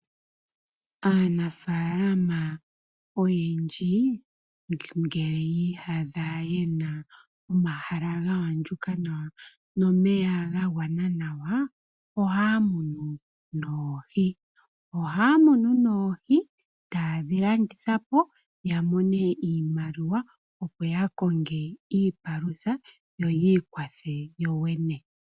Aanafaalama oyendji ngele yi ihadha yena omahala ga andjuka nawa nomeya ga gwana nawa ohaya munu noohi. Ohaya munu noohi, taye dhi landitha po yamone iimaliwa opo yakonge iipalutha yo yiikwathe yo yene.